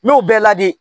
N y'o bɛɛ ladi